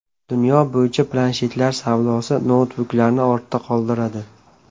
Dunyo bo‘yicha planshetlar savdosi noutbuklarni ortda qoldiradi.